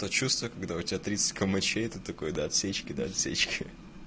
то чувство когда у тебя тридцать кэмэчей и ты такой до отсечки до отсечки